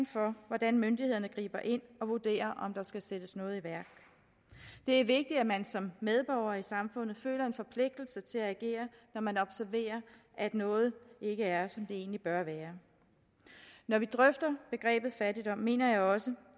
for hvordan myndighederne griber ind og vurderer om der skal sættes noget i værk det er vigtigt at man som medborger i samfundet føler en forpligtelse til at agere når man observerer at noget ikke er som det egentlig bør være når vi drøfter begrebet fattigdom mener jeg også